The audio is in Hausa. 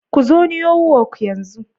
Ku zo Newyork yanzu.